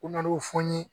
U na n'u fɔ n ye